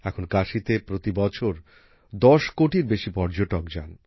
এখন কাশীতে প্রতি বছর দশ কোটির বেশি পর্যটক যান